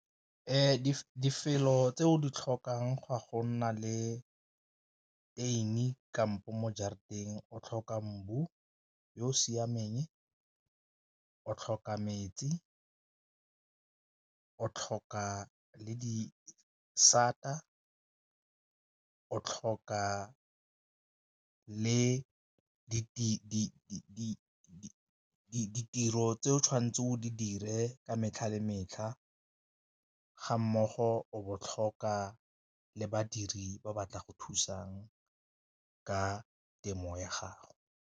tse o di tlhokang go ya go nna le tuin-i kampo mo jarateng o tlhoka yo o siameng, o tlhoka metsi, o tlhoka le disata, o tlhoka le di tiro tse o tshwanetseng o di dire ka metlha le metlha ga mmogo bo botlhokwa le badiri ba batla go thusang ka temo ya gago.